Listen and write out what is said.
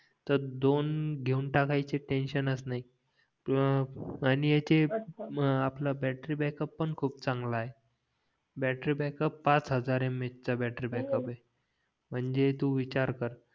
तर दोन घेऊन टाकायचे टेन्सिवनच नाही किंवा आणि ह्याचे मग आपला बॅटरी बॅकअप पण खूप चांगला आहे बॅटरी बॅकअप फाच हजार यमयच चा नातरी बॅकअप आहे म्हणजे तू विचार कर